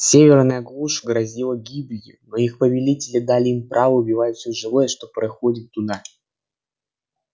северная глушь грозила гибелью но их повелители дали им право убивать всё живое что приходит оттуда